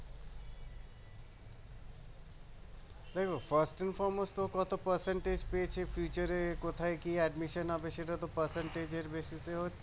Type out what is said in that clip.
দেখো কত percentage পেয়েছে future এ কোথায় কি admission হবে সেটাতো percentage এর basis এ হচ্ছে